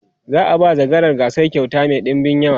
za'a ba zakarar gasar kyauta Mai ɗinbin yawa